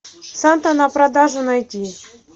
санта на продажу найти